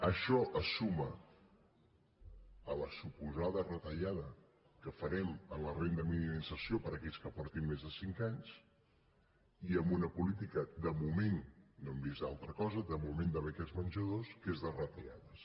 això es suma a la suposada retallada que farem en la renda mínima d’inserció per a aquells que portin més de cinc anys i a una política de moment no hem vist altra cosa de beques menjador que és de retallades